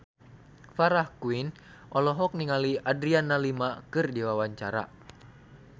Farah Quinn olohok ningali Adriana Lima keur diwawancara